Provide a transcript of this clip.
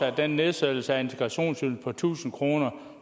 at den nedsættelse af integrationsydelsen på tusind kr